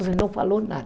Então não falou nada.